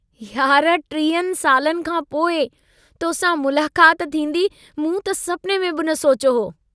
यार टीहनि सालनि खांपोइ तोसां मुलाकात थींदी मूं त सपने में बि न सोचियो हो।